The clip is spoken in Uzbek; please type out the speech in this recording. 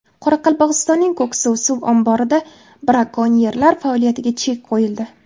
Qoraqalpog‘istonning Ko‘ksuv suv omborida brakonyerlar faoliyatiga chek qo‘yildi.